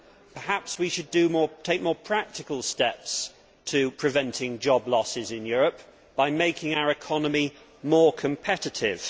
Perhaps we should take more practical steps to preventing job losses in Europe by making our economy more competitive.